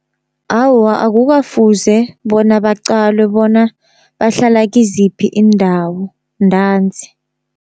Awa akukafuze bona baqalwe bona bahlala kiziphi iindawo ntanzi.